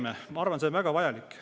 Ma arvan, et see on väga vajalik.